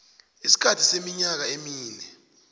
isikhathi seminyaka emine